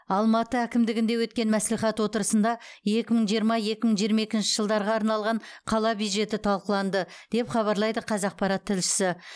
алматы әкімдігінде өткен мәслихат отырысында екі мың жиырма екі мың жиырма екінші жылдарға арналған қала бюджеті талқыланды деп хабарлайды қазақпарат тілшісі